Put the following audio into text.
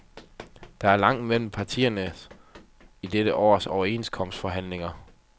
Der er langt mellem parterne i dette års overenskomsterforhandlinger.